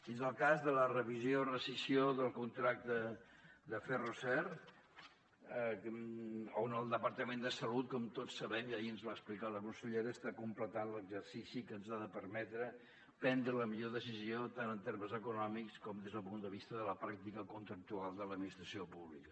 i és el cas de la revisió rescissió del contracte de ferroser on el departament de salut com tots sabem i ahir ens ho va explicar la consellera està completant l’exercici que ens ha de permetre prendre la millor decisió tant en termes econòmics com des del punt de vista de la pràctica contractual de l’administració pública